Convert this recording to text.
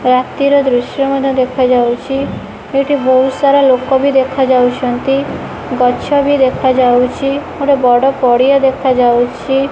ରାତିର ଦୃଶ୍ୟ ମଧ୍ୟ ଦେଖାଯାଉଛି ଏଠି ବହୁ ସାରା ଲୋକ ବି ଦେଖାଯାଉଛନ୍ତି ଗଛ ବି ଦେଖାଯାଉଛି ଗୋଟେ ବଡ଼ ପଡ଼ିଆ ଦେଖାଯାଉଛି।